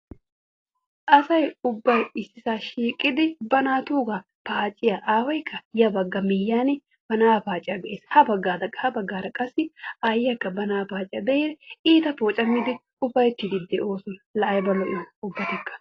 Asay ubbay issisaa shiiqidi ba naatuugaa paaciya aawayikka ya bagga miyyiyan ba na'aa paaciya be'ees. Habaggaara habaggaara qassi aayyiyakka ba na'aa paaciya be'idi iita poocammiidi ufayittiiddi de'oosona. Laa ayiba l'iyoona ubbatikka!.